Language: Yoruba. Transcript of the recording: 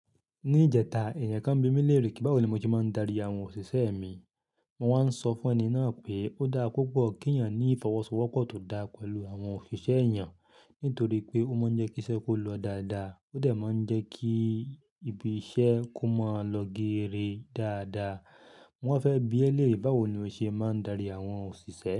Ní ìjẹta, èèyàn kan bí mi léèrè pé báwo ni mo se máa ń darí àwọn òṣìṣẹ́ mi. Mo wá ń sọ fún ẹni náà pé ó dára púpọ̀ kí èèyàn ní ìfọwọ́sowọ́pọ̀ tó dáa pẹ̀lú àwọn òṣìṣẹ́ eyan nítorí pé ó máa ń jẹ́ kí iṣẹ́ kó lọ dáadáa, ó dẹ̀ máa ń jẹ́ kí ibi iṣẹ́ kó máa lọ gere dáadáa. Wọ́n fẹ́ bí ẹ lé e báwo ni o ṣe máa ń darí àwọn òṣìṣẹ́.